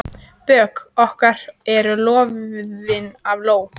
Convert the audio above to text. Bök okkar eru loðin af ló.